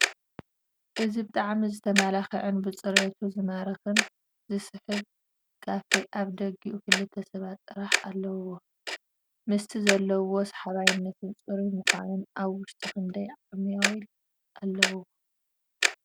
እዚ ብጣዕሚ ዝትመላከዐን ብፅሬቱ ዝማርክን ዝስሕብ ካፌ ኣብ ኣፍ ደጊኡ ክልተ ሰባት ጥራሕ ኣለዉዎ፡፡ ምሰቲ ዘለዎ ሰሓባይነትን ፅሩዩን ምኳኑስ ኣብ ወሽጡ ክንደይ ዓማዊል ኣለዉዎ?